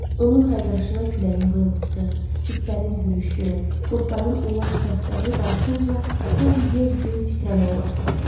Onun hayqırışına küləyin vıyıltısı, itlərin hürüşü, qurdların ulaşıq səsləri qarışınca, sanki yer göy titrəməyə başladı.